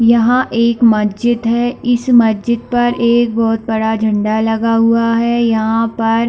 यह एक मस्जिद है इस मस्जिद पर एक बहोत बड़ा झंडा लगा हुआ है यहाँ पर--